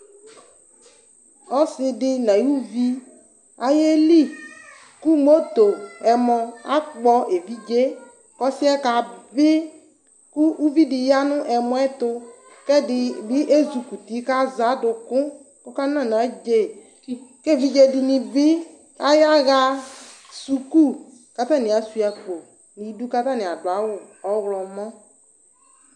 Ɔsidi nʋ ayʊvi ayeli kʋ ɛmɔ akpɔ evidzee kʋ ɔsi yɛ kabi kʋ ʋvidi yanʋ ɛmɔ yɛ tʋ kʋ ɛdibi ezikɔʋti kʋ ɛdibi azɛ adʋkʋ kʋ ɔkana nʋ adze kʋ evidze dini bi ayaɣa suku kʋ atani asuia akpo nʋ idu kʋ atani adʋ awu ɔwlɔmɔ